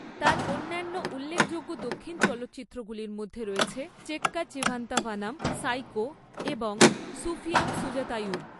তার অন্যান্য উল্লেখযোগ্য দক্ষিণ চলচ্চিত্রগুলির মধ্যে রয়েছে চেক্কা চিভান্থা ভানাম, সাইকো এবং সুফিয়াম সুজাতাইয়ুম।